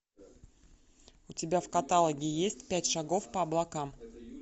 у тебя в каталоге есть пять шагов по облакам